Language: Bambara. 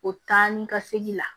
O taa ni ka segin la